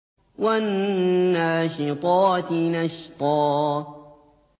وَالنَّاشِطَاتِ نَشْطًا